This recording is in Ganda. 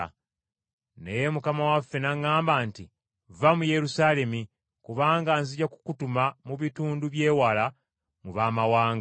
“Naye Mukama waffe n’aŋŋamba nti, ‘Vva mu Yerusaalemi, kubanga nzija kukutuma mu bitundu bye wala mu baamawanga!’ ”